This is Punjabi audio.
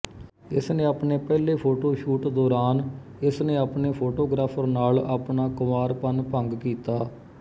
ਇਸਨੇ ਆਪਣੇ ਪਹਿਲੇ ਫੋਟੋਸ਼ੂਟ ਦੌਰਾਨ ਇਸਨੇ ਆਪਣੇ ਫੋਟੋਗ੍ਰਾਫਰ ਨਾਲ ਆਪਣਾ ਕੁਂਵਾਰਪਣ ਭੰਗ ਕੀਤਾ